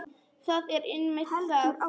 Það er einmitt það.